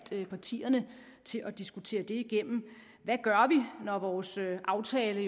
partierne til at diskutere det hvad gør vi når vores aftale